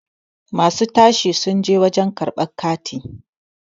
masu tashi sun je wajen karabr kati